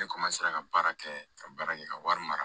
Ne ka baara kɛ ka baara kɛ ka wari mara